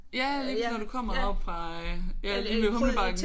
Ja lige præcis når du kommer oppe fra øh ja lige ved Humlebakken